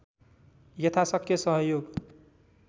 यथाशक्य सहयोग